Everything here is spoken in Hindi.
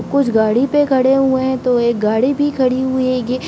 कुछ गाड़ी पर खड़े हुए है तो एक गाड़ी भी खड़ी हुई है यह --